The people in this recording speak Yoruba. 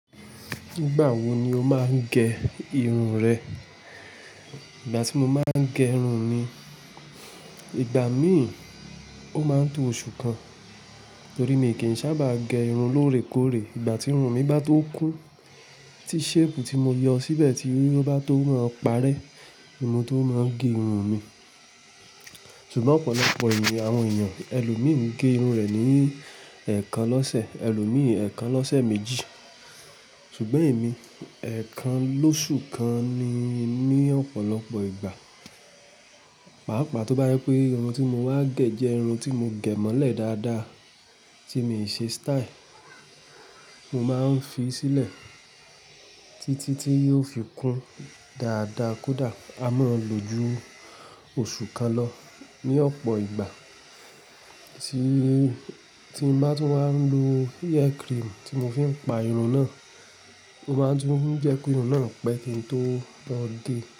Nígbà wo ni o máa ń gẹ irun rẹ? Ìgbà tí mo máa ń gẹ irun mi, ìgbà míì ó máa ń tó oṣù kan, torí mi kì í sábà gẹ irun lóòrèkóòrè. Ìgbà tí irun mi bá tó kún, tí shape tí mo yọ síbẹ̀ tí ó bá tó máa ń parẹ́, ni mo tó máa ń gẹ irun mi. Ṣùgbọ́n ọ̀pọ̀lọpọ̀ ènìyàn, àwọn ènìyàn, ẹlòmíì gẹ irun rẹ̀ ní ẹ̀ẹ̀kan lọ́sẹ̀, ẹlòmíì ẹ̀ẹ̀kan lọ́sẹ̀ méjì. Ṣùgbọ́n èmi, ẹ̀ẹ̀kan lóṣù kan ni, ní ọ̀pọ̀lọpọ̀ ìgbà. Pàápàá tó bá yẹ pé irun tí mo máa gẹ jẹ́ irun tí mo gẹ̀ mọ́lẹ̀ dáadáa tí mi ò ṣe style, mo máa ń fi sílẹ̀ títí tí yóò fi kún dáadáa kódà a máa lò ju oṣù kan lọ ní ọ̀pọ̀ ìgbà tí, tí n bá tú n máa ń lo hair cream tí mo fi ń pa irun náà, mo máa ń tún ń jẹ́ kí irun náà pẹ́ kí n tó lọ́ gé.